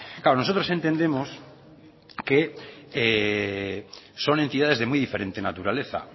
claro nosotros entendemos que son entidades de muy diferente naturaleza